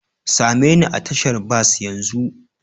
Same ni a tashar bas yanzu!